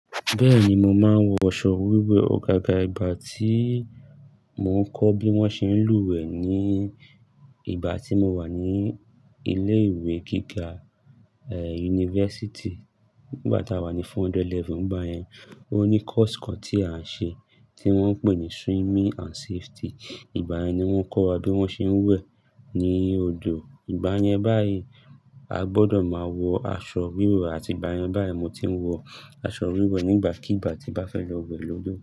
Bẹ́ẹ̀ni, mo máa ń wọ'ṣọ wíwẹ̀. Gaga ìgbà tí mo ń kọ́ bí wón ṣe ń lùwẹ̀ ní ìgbà tí mo wà ní ilé ìwé gíga, ẹ, university. Nígbà tá a wà ní 400 level nìgbà yẹn ó ní course kan tí a n ṣe tí wón ń pè ní swimming and safety. Ìgbà yẹn ni wón kọ́ wa bí wón ṣe ń wẹ̀ ní odò. Ìgbà yẹn báyìí a gbọ́dọ̀ máa wọ aṣọ wíwẹ̀ àti ìgbà yẹn báyìí mo ti ń wọ aṣọ wíwẹ̀ nígbàkigbà tí n bá fẹ́ lọ wẹ̀ lọ́dọ̀.